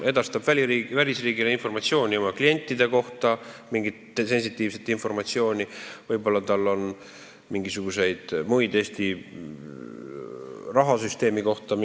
Pank edastab välisriigile mingit sensitiivset informatsiooni oma klientide kohta ja võib-olla on tal ka mingisuguseid muid andmeid Eesti rahasüsteemi kohta.